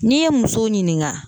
N'i ye muso ɲininka